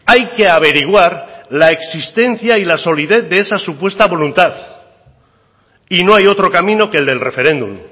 hay que averiguar la existencia y la solidez de esa supuesta voluntad y no hay otro camino que el del referéndum